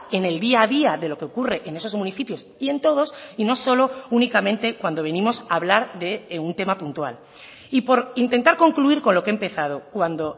en el día a día de lo que ocurre en esos municipios y en todos y no solo únicamente cuando venimos a hablar de un tema puntual y por intentar concluir con lo que he empezado cuando